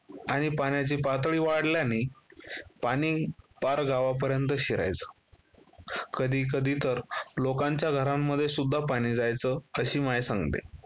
आणि पाण्याची पातळी वाढल्याने पाणी पार गावापर्यंत शिरायचं, कधी - कधी तर लोकांच्या घरांमध्ये सुद्धा पाणी जायचं अशी माय सांगते.